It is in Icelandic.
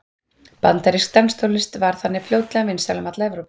Bandarísk danstónlist varð þannig fljótlega vinsæl um alla Evrópu.